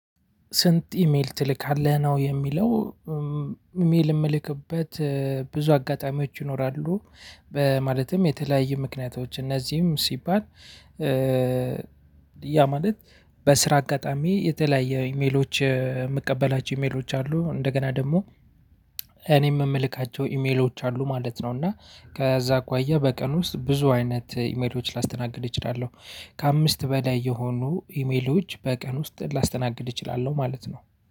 ስንት ኢሜል ትልካለህ? ነው የሚለው። ኢሜል የምልክበት ብዙ አጋጣሚዎች ይኖራሉ። በማለትም የተለያየ ምክንያቶች እነዚህም ሲባል ያ ማለት በስራ አጋጣሚ የተለያየ ኢሜሎች የምቀበላቸው ኢሜሎች አሉ። እንደገና ደግሞ እኔም የምልካቸው ኢሜሎች አሉ ማለት ነው። እና ከዛ አኳያ በቀን ውስጥ ብዙ አይነት ኢሜሎች ላስተናግድ እችላለሁ። ከአምስት በላይ የሆኑ ኢሜሎች በቀን ውስጥ ላስተናግድ እችላለሁ ማለት ነው።